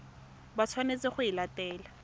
ba tshwanetseng go e latela